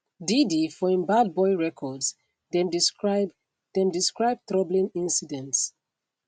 diddy for im bad boy records dem describe dem describe troubling incidents